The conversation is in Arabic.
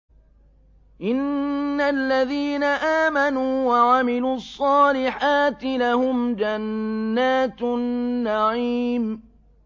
إِنَّ الَّذِينَ آمَنُوا وَعَمِلُوا الصَّالِحَاتِ لَهُمْ جَنَّاتُ النَّعِيمِ